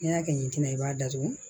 N'i y'a kɛ ɲintin i b'a datugu